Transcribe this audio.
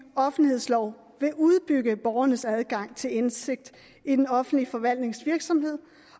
offentlighedslov vil udbygge borgernes adgang til indsigt i den offentlige forvaltnings virksomhed